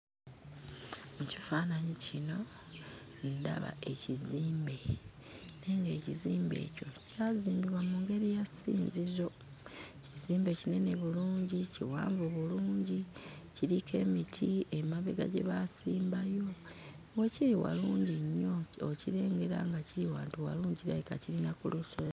Mu kifaananyi kino, ndaba ekizimbe naye ng'ekizimbe ekyo kyazimbibwa mu ngeri ya ssinzizo. Ekizimbe kinene bulungi, kiwanvu bulungi, kiriko emiti emabega gye baasimbayo. We kiri walungi nnyo, okirengera nga kiri wantu walungi, kirabika kiri na ku lusozi.